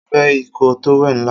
Mo fé ikoo towel ńlá